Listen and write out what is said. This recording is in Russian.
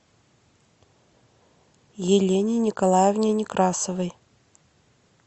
елене николаевне некрасовой